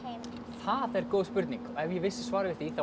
það er góð spurning ef ég vissi svar við því þá